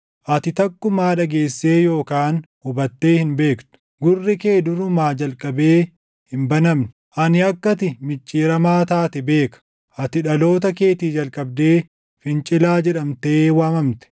Ati takkumaa dhageessee yookaan hubattee hin beektu; gurri kee durumaa jalqabee hin banamne. Ani akka ati micciiramaa taate beeka; ati dhaloota keetii jalqabdee fincilaa jedhamtee waamamte.